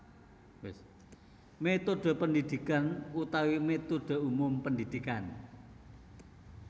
Métodhe pendidikan utawi métodhe umum pendidikan